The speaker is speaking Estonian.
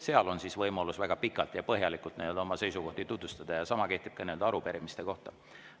Seal on võimalus väga pikalt ja põhjalikult oma seisukohti tutvustada, sama kehtib ka arupärimiste kohta.